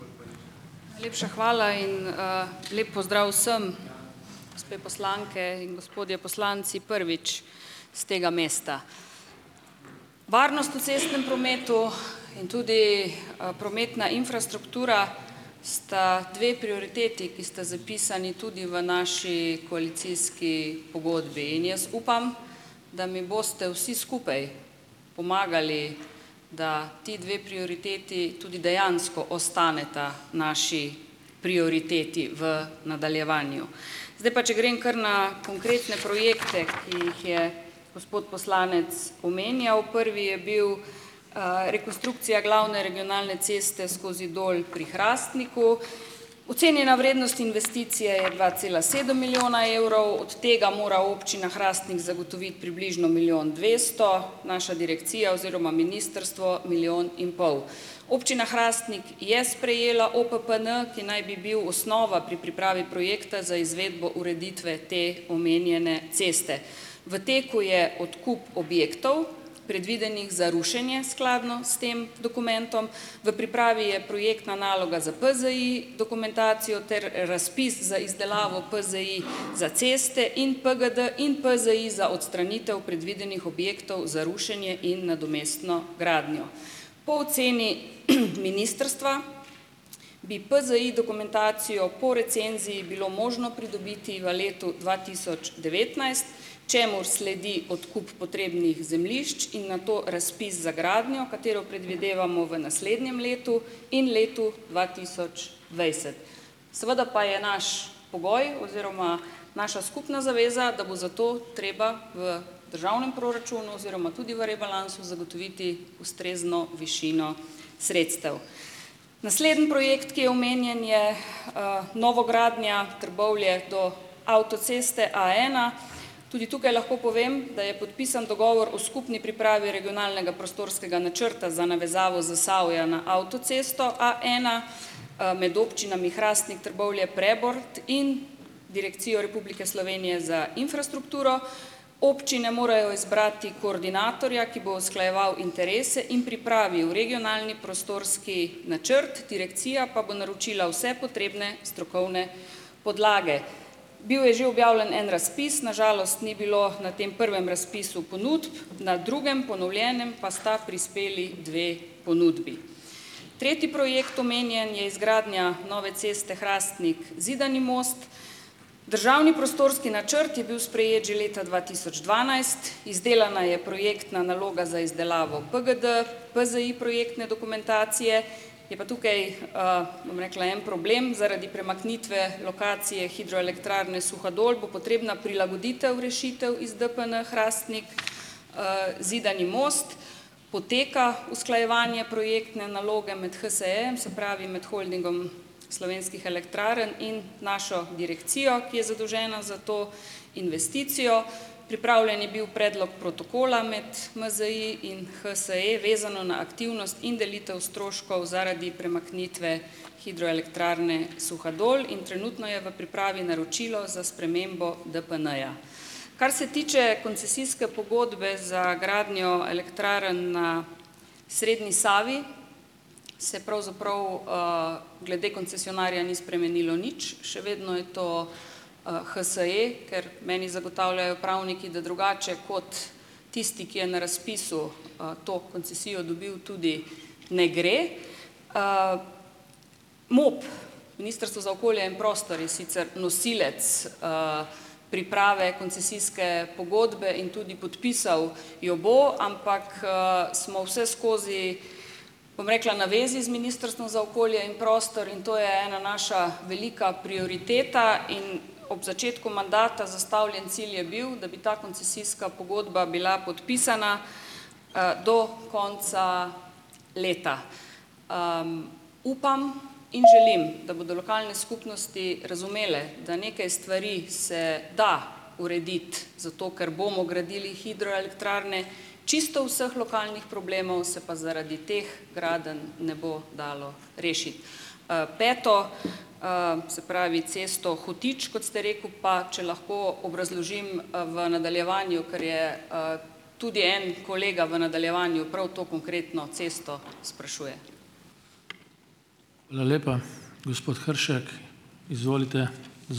Najlepša hvala in lep pozdrav vsem, gospe poslanke in gospodje poslanci, prvič s tega mesta! Varnost v cestnem prometu in tudi prometna infrastruktura sta dve prioriteti, ki sta zapisani tudi v naši koalicijski pogodbi. In jaz upam, da mi boste vsi skupaj pomagali, da ti dve prioriteti tudi dejansko ostaneta naši prioriteti v nadaljevanju. Zdaj pa če grem kar na konkretne projekte, ki jih je gospod poslanec omenjal. Prvi je bil rekonstrukcija glavne regionalne ceste skozi Dol pri Hrastniku. Ocenjena vrednost investicije je dva cela sedem milijona evrov, od tega mora občina Hrastnik zagotoviti približno milijon dvesto, naša direkcija oziroma ministrstvo milijon in pol. Občina Hrastnik je sprejela OPPN, ki naj bi bil osnova pri pripravi projekta za izvedbo ureditve te omenjene ceste. V teku je odkup objektov, predvidenih za rušenje, skladno s tem dokumentom. V pripravi je projektna naloga za PZI dokumentacijo ter razpis za izdelavo PZI za ceste in PGD in PZI za odstranitev predvidenih objektov za rušenje in nadomestno gradnjo. Po oceni ministrstva bi PZI dokumentacijo po recenziji bilo možno pridobiti v letu dva tisoč devetnajst, čemur sledi odkup potrebnih zemljišč in nato razpis za gradnjo, katero predvidevamo v naslednjem letu in letu dva tisoč dvajset. Seveda pa je naš pogoj oziroma naša skupna zaveza, da bo za to treba v državnem proračunu oziroma tudi v rebalansu zagotoviti ustrezno višino sredstev. Naslednji projekt, ki je omenjen, je novogradnja Trbovlje do avtoceste A ena. Tudi tukaj lahko povem, da je podpisan dogovor o skupni pripravi regionalnega prostorskega načrta za navezavo Zasavja na avtocesto A ena med občinami Hrastnik, Trbovlje, Prebold in Direkcijo Republike Slovenije za infrastrukturo. Občine morajo izbrati koordinatorja, ki bo usklajeval interese in pripravil regionalni prostorski načrt, direkcija pa bo naročila vse potrebne strokovne podlage. Bil je že objavljen en razpis, na žalost ni bilo na tem prvem razpisu ponudb, na drugem, ponovljenem, pa sta prispeli dve ponudbi. Tretji projekt omenjen je izgradnja nove ceste Hrastnik-Zidani most. Državni prostorski načrt je bil sprejet že leta dva tisoč dvanajst, izdelana je projektna naloga za izdelavo PGD, PZI projektne dokumentacije, je pa tukaj, bom rekla, en problem zaradi premaknitve lokacije Hidroelektrarne Suhadol bo potrebna prilagoditev rešitev iz DPN Hrastnik Zidani most, poteka usklajevanje projektne naloge med HSE-jem, se pravi med Holdingom slovenskih elektrarn in našo direkcijo, ki je zadolžena za to investicijo. Pripravljen je bil predlog protokola med MZI in HSE, vezano na aktivnost in delitev stroškov zaradi premaknitve Hidroelektrarne Suhadol. In trenutno je v pripravi naročilo za spremembo DPN-ja. Kar se tiče koncesijske pogodbe za gradnjo elektrarn na srednji Savi, se pravzaprav glede koncesionarja ni spremenilo nič. Še vedno je to HSE, ker meni zagotavljajo pravniki, da drugače kot tisti, ki je na razpisu to koncesijo dobil, tudi ne gre. MOP, Ministrstvo za okolje in prostor je sicer nosilec priprave koncesijske pogodbe in tudi podpisal jo bo, ampak smo vseskozi, bom rekla, na zvezi z Ministrstvom za okolje in prostor. In to je ena naša velika prioriteta. In ob začetku mandata zastavljen cilj je bil, da bi ta koncesijska pogodba bila podpisana do konca leta. Upam in želim, da bodo lokalne skupnosti razumele, da neke stvari se da urediti, zato ker bomo gradili hidroelektrarne. Čisto vseh lokalnih problemov se pa zaradi teh gradenj ne bo dalo rešiti. Peto, se pravi cesto Hotič, kot ste rekel, pa če lahko obrazložim v nadaljevanju, ker je tudi en kolega v nadaljevanju prav to konkretno cesto sprašuje.